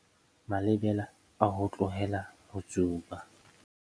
Malebela a ho tlohela ho tsuba